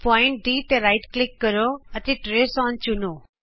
ਬਿੰਦੂ D ਤੇ click ਕਰੋ ਅਤੇ ਟਰੇਸ ਅੋਨ ਚੁਣੋ